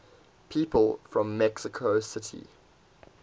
people from mexico city